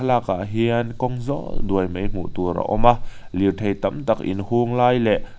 thlalakah hian kawng zâwl duai mai hmu tur a awm a lirthei tam tak in hung lai leh--